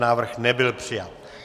Návrh nebyl přijat.